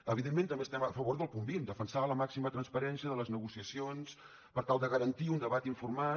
evidentment també estem a favor del punt vint defensar la màxima transparència de les negociacions per tal de garantir un debat informat